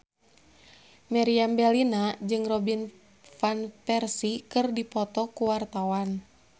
Meriam Bellina jeung Robin Van Persie keur dipoto ku wartawan